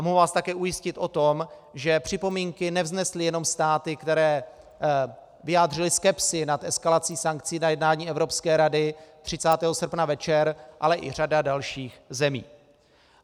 A mohu vás také ujistit o tom, že připomínky nevznesly jenom státy, které vyjádřily skepsi nad eskalací sankcí na jednání Evropské rady 30. srpna večer, ale i řada dalších zemí.